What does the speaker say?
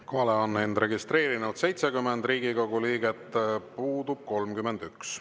Kohalolijaks on end registreerinud 70 Riigikogu liiget, puudub 31.